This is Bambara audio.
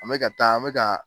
An be ka taa an be ka